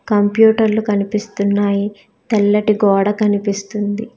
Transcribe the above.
Computer లు కనిపిస్తున్నాయ్ తెల్లటి గోడ కనిపిస్తుంది.